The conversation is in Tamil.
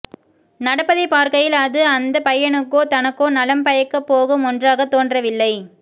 நடப்பதைப் பார்க்கையில் அது அந்தப் பையனுக்கோ தனக்கோ நலம் பயக்கப் போகும் ஒன்றாகத் தோன்றவில்லை